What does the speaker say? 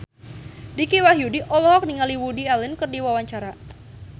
Dicky Wahyudi olohok ningali Woody Allen keur diwawancara